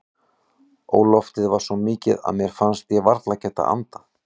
Óloftið var svo mikið að mér fannst ég varla geta andað.